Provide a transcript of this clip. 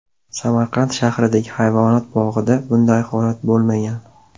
Samarqand shahridagi hayvonot bog‘ida bunday holat bo‘lmagan.